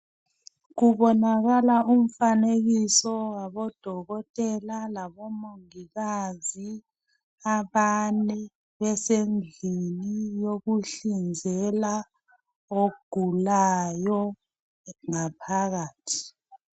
Kubonakala umfanekiso wabodokotela labomongikazi abane besendlini yokuhlinzela ogulayo ngaphakathi.